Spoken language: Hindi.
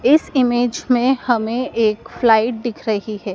इस इमेज में हमें एक फ्लाइट दिख रही है।